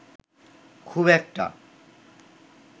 খুব একটা